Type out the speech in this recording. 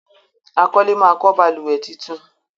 àkọlé má kọ balùwẹ̀ títún.